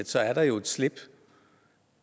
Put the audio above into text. så er der jo et slip